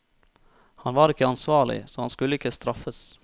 Han var ikke ansvarlig, så han skulle ikke straffes.